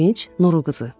Sevinc Nuru qızı.